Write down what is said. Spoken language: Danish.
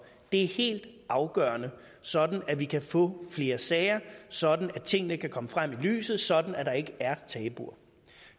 det er helt afgørende sådan at vi kan få flere sager sådan at tingene kan komme frem i lyset sådan at der ikke er tabuer